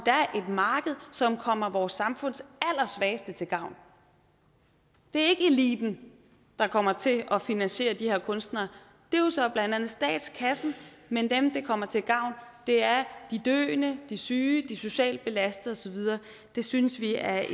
marked som kommer vores samfunds allersvageste til gavn det er ikke eliten der kommer til at finansiere de her kunstnere det er jo så blandt andet statskassen men dem det kommer til gavn er de døende de syge de socialt belastede og så videre det synes vi er